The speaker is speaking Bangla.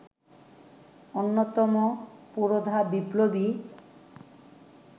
অন্যতম পুরোধা বিপ্লবী